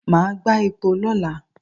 Màá gbá epo lọ́la.